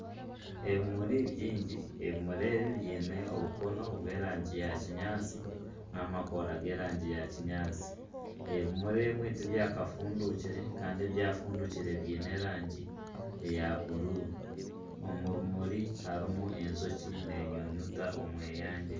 Ebimuri bingi ebimuri ebi biine obukono bw'erangi ya kinyatsi nana amakoora g'erangi ya kinyatsi ,ebimuri ebimwe tibyakafundukire Kandi ebyafundukire biine erangi eya bururu omu bimuri harimu enjoki n'enyunyuta omweyangye.